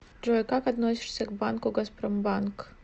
джой как относишься к банку газпромбанк